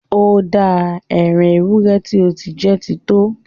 Ó dáa! Ẹ́ran èwúrẹ ti o ti jẹ́ ti to!